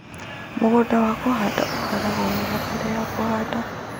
Mũgũnda wa kũhanda ũhaaragwo wega mbere ya kũhanda